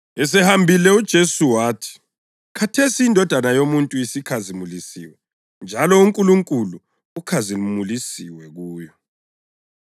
Esehambile uJesu wathi, “Khathesi iNdodana yoMuntu isikhazimulisiwe njalo uNkulunkulu ukhazimulisiwe kuyo.